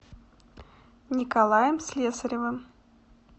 николаем слесаревым